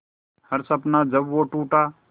हर सपना जब वो टूटा